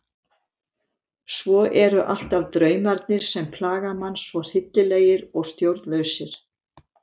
Svo eru alltaf draumarnir sem plaga mann svo hryllilegir og stjórnlausir.